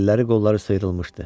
Əlləri qolları sıyrılmışdı.